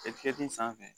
sanfɛ